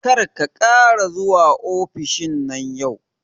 Kar ka ƙara zuwa ofishin nan yau